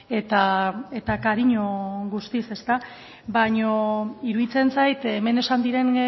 eta cariño guztiz baino iruditzen zait hemen esan diren